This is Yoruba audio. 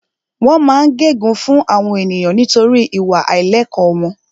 Wọ́n máa ń gẹ gun fún àwọn ènìyàn nítorí ìwà àìlẹ̀kọ́ wọn